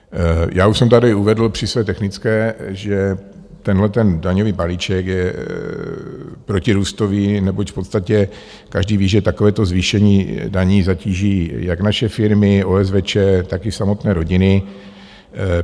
Já už jsem tady uvedl při své technické, že tenhleten daňový balíček je protirůstový, neboť v podstatě každý ví, že takovéto zvýšení daní zatíží jak naše firmy, OSVČ, tak i samotné rodiny.